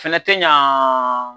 Fɛnɛ te ɲa